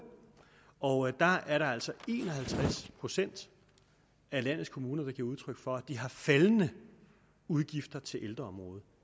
og der er der altså en og halvtreds procent af landets kommuner der giver udtryk for at de har faldende udgifter til ældreområdet